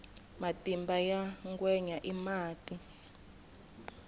matimba ya ngwenya i mati